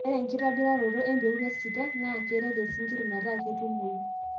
ore enkitobiraroto empeut esita naa keret isinkir metaa ketumoyu